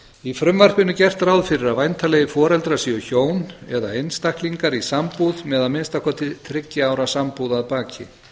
í frumvarpinu er gert ráð fyrir að væntanlegir foreldrar séu hjón eða einstaklingar í sambúð með að minnsta kosti þriggja ára sambúð að baki